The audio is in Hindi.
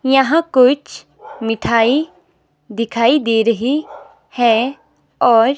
यहां कोईछ मिठाई दिखाई दे रही है और--